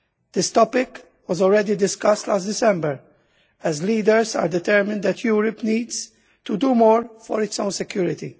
This topic was already discussed last December, as leaders are determined that Europe needs to do more for its own security.